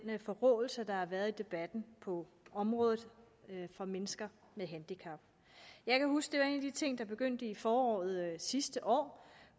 forråelse der har været i debatten på området for mennesker med handicap jeg kan huske at en af de ting der begyndte i foråret sidste år